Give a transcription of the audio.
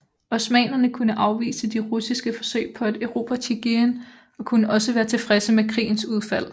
Osmannerne kunne afvise de russiske forsøg på at erobre Tjigirin og kunne også være tilfredse med krigens udfald